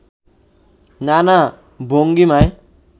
নানা ভঙ্গিমায়